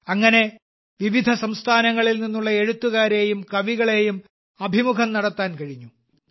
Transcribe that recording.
അങ്ങനെ വിവിധ സംസ്ഥാനങ്ങളിൽ നിന്നുള്ള എഴുത്തുകാരെയും കവികളെയും അഭിമുഖം നടത്താൻ കഴിഞ്ഞു